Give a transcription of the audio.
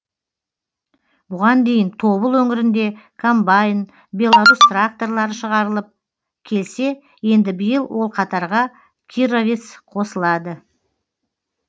бұған дейін тобыл өңірінде комбайн беларус тракторлары шығарылып келсе енді биыл ол қатарға кировец қосылады